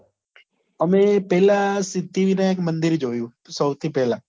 અમે પેલા સિદ્ધિવીનાયક મંદિર જોયું સૌથી પેલા